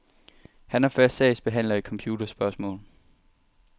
Han er fast sagsbehandler i computerspørgsmål.